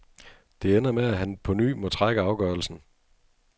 Det ender med, at han på ny må trække afgørelsen.